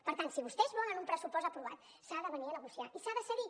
per tant si vostès volen un pressupost aprovat s’ha de venir a negociar i s’ha de cedir